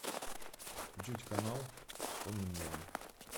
включить канал с конным миром